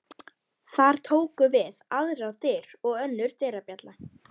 Þar tóku við aðrar dyr og önnur dyrabjalla.